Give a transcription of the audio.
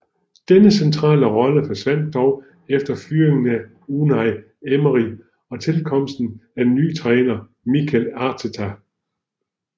Denne centrale rolle forsvandt dog efter fyringen af Unai Emery og tilkomsten af nye træner Mikel Arteta